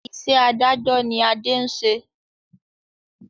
Iṣẹ́ adájọ́ ni Ade ń ṣe